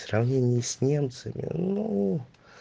сравнение с немцами ну